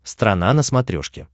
страна на смотрешке